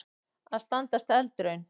Að standast eldraun